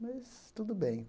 Mas tudo bem.